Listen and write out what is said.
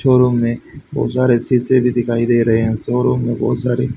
showroom में बहुत सारे शीशे भी दिखाई दे रहे हैं शोरूम में बहुत सारे--